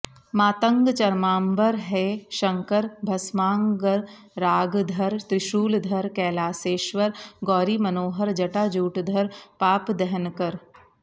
मातङ्ग चर्माम्बर हे शङ्कर भस्माङ्गरागधर त्रिशूलधर कैलासेश्वर गौरीमनोहर जटाजूटधर पापदहनकर